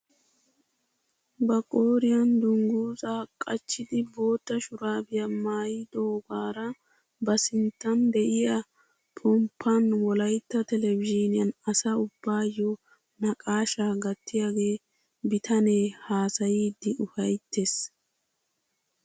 Ba qooriyaan dunguzaa qachchidi bootta shuraabiyaa maayidoogara ba sinttan de'iyaa pomppaan wolaytta telebizhniyaan asa ubbayoo naqashshaa gattiyaagee bitanee hasayiidi ufayttees!